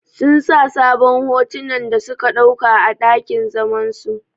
Sun sa sabon hotunan da suka ɗauka a ɗakin zaman su.